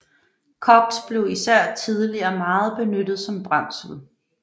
Koks blev især tidligere meget benyttet som brændsel